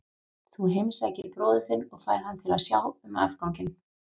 Þú heimsækir bróður þinn og færð hann til að sjá um afganginn.